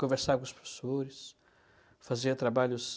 Conversava com os professores, fazia trabalhos